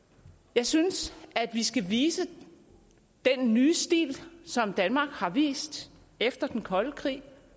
jeg synes at vi skal vise den nye stil som danmark har vist efter den kolde krig